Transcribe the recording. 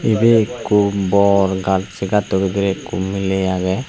ibe ekko bor gat se gatto bidirey ekko miley agey.